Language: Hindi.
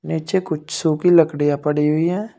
निचे कुछ सुखी लड़कियां पड़ी हुई हैं।